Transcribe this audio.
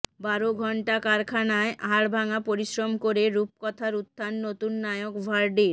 বারো ঘণ্টা কারখানায় হাড়ভাঙা পরিশ্রম করে রূপকথার উত্থান নতুন নায়ক ভার্ডির